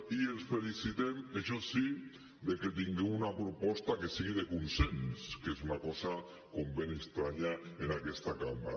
i ens felicitem això sí de que tinguem una proposta que sigui de consens que és una cosa com ben estranya en aquesta cambra